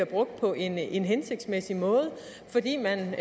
brugt på en en hensigtsmæssig måde fordi man